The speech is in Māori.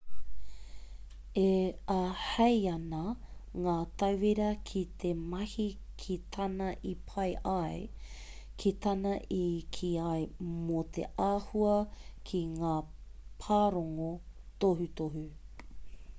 e āhei ana ngā tauira ki te mahi ki tāna i pai ai ki tāna i kī ai mō te āhua ki ngā pārongo tohutohu